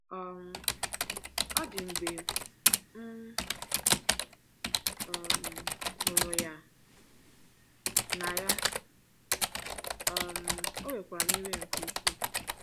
“ um Ọ dị mgbe mgbe m um hụrụ ya na ya, um o wekwara m iwe nke ukwuu.